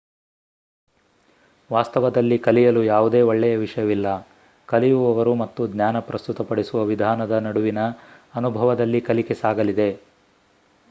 ವಾಸ್ತವದಲ್ಲಿ ಕಲಿಯಲು ಯಾವುದೇ ಒಳ್ಳೆಯ ವಿಷಯವಿಲ್ಲ ಕಲಿಯುವವರು ಮತ್ತು ಜ್ಞಾನ ಪ್ರಸ್ತುತಪಡಿಸುವ ವಿಧಾನದ ನಡುವಿನ ಅನುಭವದಲ್ಲಿ ಕಲಿಕೆ ಸಾಗಲಿದೆ